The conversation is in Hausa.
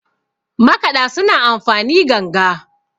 makaɗa suna amfani ganga